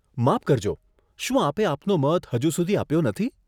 માફ કરજો, શું આપે આપનો મત હજુ સુધી આપ્યો નથી?